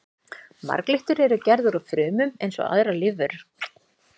Marglyttur eru gerðar úr frumum eins og aðrar lífverur.